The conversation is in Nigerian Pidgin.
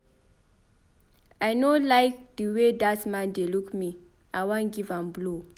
I no like the way dat man dey look me. I wan give am blow.